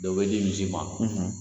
Dɔw bɛ di misi ma